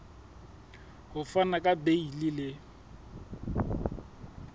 ho fana ka beile le